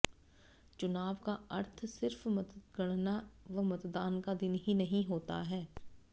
चुनाव का अर्थ सिर्फ मतगणना व मतदान का दिन ही नहीं होता है